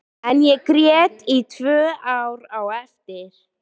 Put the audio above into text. En ég grét í tvö ár á eftir.